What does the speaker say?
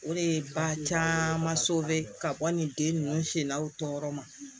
O de ye ba caman ka bɔ nin den ninnu sela u tɔyɔrɔ ma